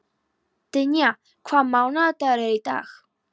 Dynja, hvaða mánaðardagur er í dag?